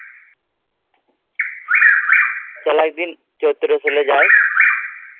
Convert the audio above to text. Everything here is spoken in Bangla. চল একদিন চৈত্র সেলে যাই।